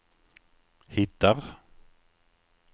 hittar